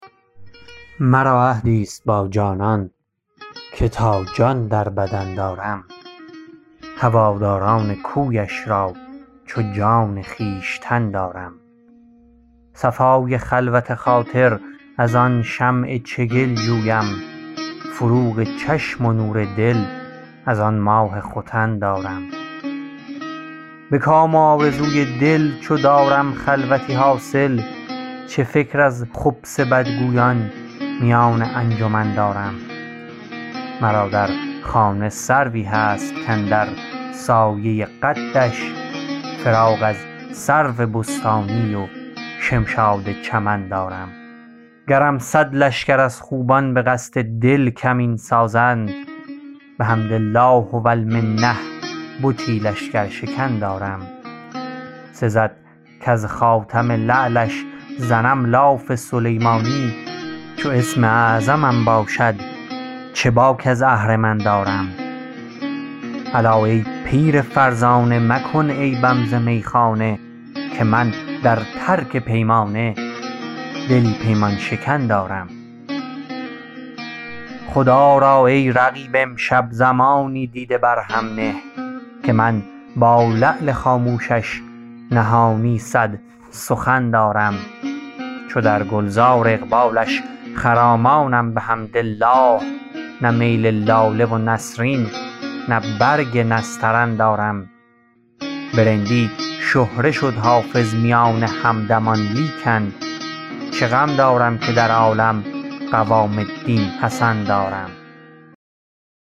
مرا عهدی ست با جانان که تا جان در بدن دارم هواداران کویش را چو جان خویشتن دارم صفای خلوت خاطر از آن شمع چگل جویم فروغ چشم و نور دل از آن ماه ختن دارم به کام و آرزوی دل چو دارم خلوتی حاصل چه فکر از خبث بدگویان میان انجمن دارم مرا در خانه سروی هست کاندر سایه قدش فراغ از سرو بستانی و شمشاد چمن دارم گرم صد لشکر از خوبان به قصد دل کمین سازند بحمد الله و المنه بتی لشکرشکن دارم سزد کز خاتم لعلش زنم لاف سلیمانی چو اسم اعظمم باشد چه باک از اهرمن دارم الا ای پیر فرزانه مکن عیبم ز میخانه که من در ترک پیمانه دلی پیمان شکن دارم خدا را ای رقیب امشب زمانی دیده بر هم نه که من با لعل خاموشش نهانی صد سخن دارم چو در گل زار اقبالش خرامانم بحمدالله نه میل لاله و نسرین نه برگ نسترن دارم به رندی شهره شد حافظ میان همدمان لیکن چه غم دارم که در عالم قوام الدین حسن دارم